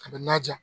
A bɛ na ja